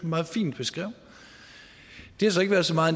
meget fint beskrev det har så ikke så meget